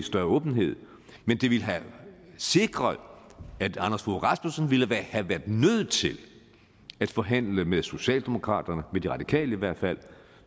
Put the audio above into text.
større åbenhed men det ville have sikret at anders fogh rasmussen ville have været nødt til at forhandle med socialdemokraterne med de radikale i hvert fald